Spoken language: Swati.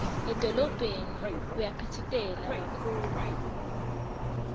edolobheni kuyaphitsitela kakhulu